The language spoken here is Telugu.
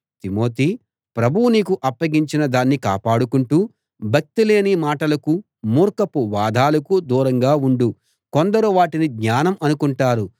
తిమోతీ ప్రభువు నీకు అప్పగించిన దాన్ని కాపాడుకుంటూ భక్తిలేని మాటలకూ మూర్ఖపు వాదాలకూ దూరంగా ఉండు కొందరు వాటిని జ్ఞానం అనుకుంటారు